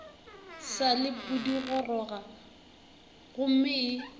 sa le pudigoroga gomme e